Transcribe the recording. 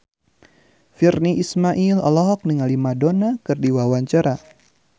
Virnie Ismail olohok ningali Madonna keur diwawancara